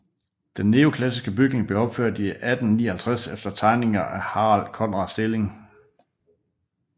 Den neoklassiske bygning blev opført i 1859 efter tegninger af Harald Conrad Stilling